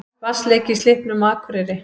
Vatnsleki í Slippnum á Akureyri